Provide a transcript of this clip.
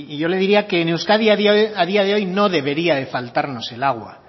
yo le diría que en euskadi a día de hoy no debería de faltarnos el agua